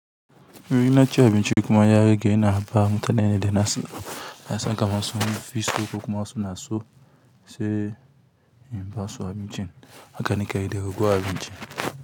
In na ci abinci kuma ya rage ina ba mutane da na san kam sun fi so ko kuma suna so sai in ba su abincin. Haka ni ke yi da ragowar abinci.